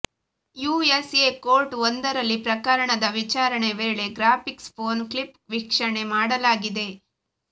you S A court ಒಂದರಲ್ಲಿ ಪ್ರಕರಣದ ವಿಚಾರಣೆ ವೇಳೆ ಗ್ರಾಫಿಕ್ಸ್ ಪೋರ್ನ್ ಕ್ಲಿಪ್ ವೀಕ್ಷಣೆ ಮಾಡಲಾಗಿದೆ